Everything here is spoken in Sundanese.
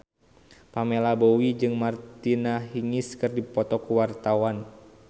Pamela Bowie jeung Martina Hingis keur dipoto ku wartawan